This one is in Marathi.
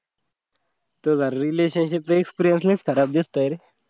तुझा relationship चा experience लैच खराब दिसतोय रे.